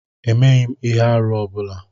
Emeghm ihe-árú ọ bula.